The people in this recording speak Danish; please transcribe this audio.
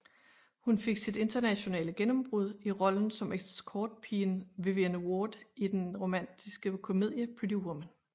Hun fik sit internationale gennembrud i rollen som escortpigen Vivian Ward i den romantiske komedie Pretty Woman